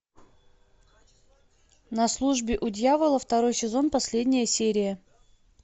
на службе у дьявола второй сезон последняя серия